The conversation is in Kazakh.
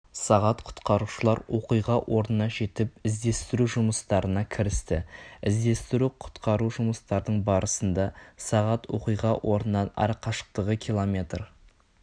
сағат құтқарушылар оқиға орнына жетіп іздестіру жұмыстарына кірісті іздестіру-құтқару жұмыстардың барысында сағат оқиға орнынан арақашықтығы километр